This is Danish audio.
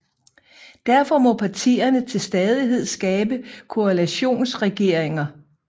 Derfor må partierne til stadighed skabe koalitionsregeringer